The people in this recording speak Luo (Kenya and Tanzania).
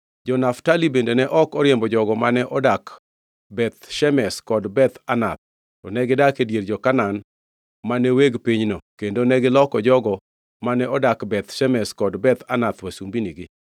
Jo-Naftali bende ne ok oriembo jogo mane odak Beth Shemesh kod Beth Anath, to negidak e dier jo-Kanaan mane weg pinyno kendo negiloko jogo mane odak Beth Shemesh kod Beth Anath wasumbinigi.